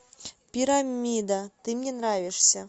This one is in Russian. пирамида ты мне нравишься